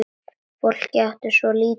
Fólk átti svo lítið.